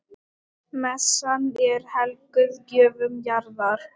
Messan er helguð gjöfum jarðar.